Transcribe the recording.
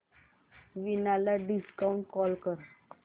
वीणा ला video call कर